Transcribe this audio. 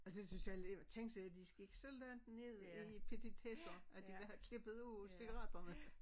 Altså det synes jeg alligevel tænk sig at de gik så langt ned i petitesser at de vil have klippet ud cigaretterne